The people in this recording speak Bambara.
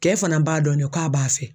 Cɛ fana b'a dɔn de k'a b'a fɛ.